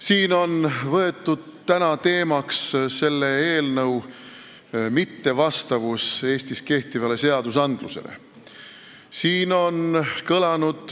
Siin on täna jutuks võetud eelnõu mittevastavus Eestis kehtivatele seadustele.